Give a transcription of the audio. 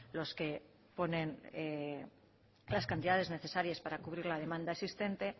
los que ponen las cantidades necesarias para cubrir la demanda existente